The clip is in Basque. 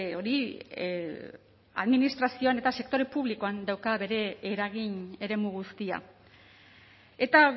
hori administrazioan eta sektore publikoan dauka bere eragin eremu guztia eta